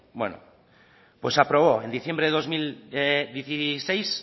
bueno pues se aprobó en diciembre del dos mil dieciséis